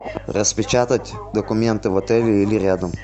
распечатать документы в отеле или рядом